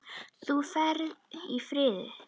Þú ferð í friði.